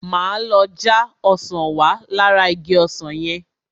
Máa lọ já ọsàn wá lára igi ọsàn yẹn.